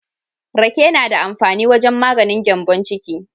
Rake na da amfani wajen maganin gyambon ciki.